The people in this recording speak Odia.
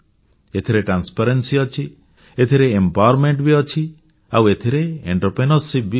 ଏଥିରେ ସ୍ବଚ୍ଛତା ଅଛି ଏଥିରେ ସଶକ୍ତିକରଣ ବି ଅଛି ଆଉ ଏଥିରେ ଉଦଯୋଗ ବି ଅଛି